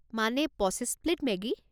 মানে পঁচিছ plate Maggi?